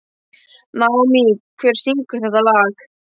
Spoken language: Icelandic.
Naómí, hver syngur þetta lag?